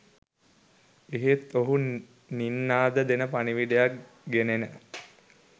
එහෙත් ඔහු නින්නාද දෙන පණිවිඩයක් ගෙනෙන